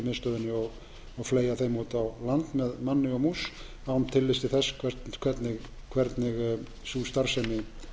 stjórnsýslumiðstöðinni og fleygja þeim út á land með manni og mús án tillits til þess hvernig sú starfsemi